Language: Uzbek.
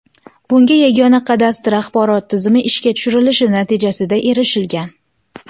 Bunga Yagona kadastr axborot tizimi ishga tushirilishi natijasida erishilgan.